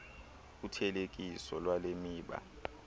uthelekiso lwale miba